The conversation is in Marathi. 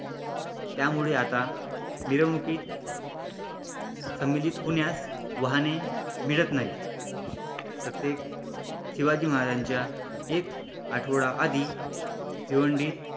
त्यामुळे आता मिरवणुकीत जमिनीत होण्यास वाहने मिळत नाही. शिवाजी महाराजांच्या एक आठवडाआधी भिवंडीत